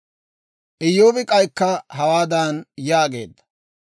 Iyyoobi k'aykka hawaadan yaageedda;